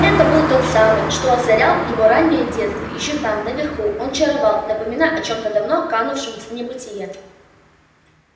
это был тот самый свет озарял его раннее детство ещё там наверху он чаровал напоминая о чем-то давно канувшем в небытие